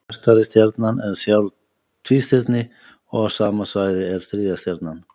Bjartari stjarnan er sjálf tvístirni og á sama svæði er þriðja stjarnan.